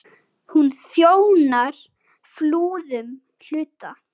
Hún þjónar Flúðum, hluta